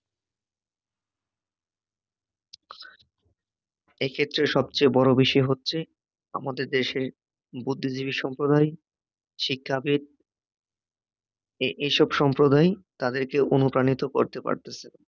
এক্ষেত্রে সবচেয়ে বড় বিষয় হচ্ছে আমাদের দেশে বুদ্ধিজীবী সম্প্রদায়, শিক্ষাবিদ এ এসব সম্প্রদায় তাদেরকে অনুপ্রাণিত করতে পারতেছে না